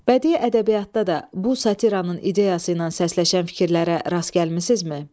Bədii ədəbiyyatda da bu satiranın ideyası ilə səsləşən fikirlərə rast gəlmisinizmi?